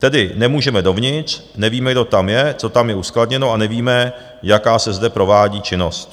Tedy nemůžeme dovnitř, nevíme, kdo tam je, co tam je uskladněno, a nevíme, jaká se zde provádí činnost.